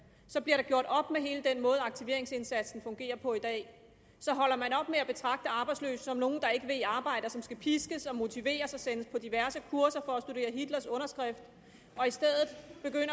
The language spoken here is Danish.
bliver der gjort op med hele den måde aktiveringsindsatsen fungerer på i dag så holder man op med at betragte arbejdsløse som nogle der ikke vil i arbejde og som skal piskes og motiveres og sendes på diverse kurser for at studere hitlers underskrift